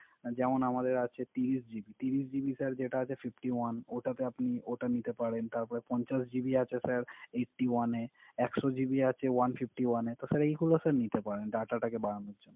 যেমন আমাদের আছে ত্রিশ জিবি যেটা আছে Fifty one, ওটাতে ওটা নিতে পারে। তারপর পঞ্চাশ জিবি আছে স্যার Eighty one এর একশো জিবি আছে One fifty one স্যার এগুলা স্যার নিতে পারেন। Data বারানোর জন্য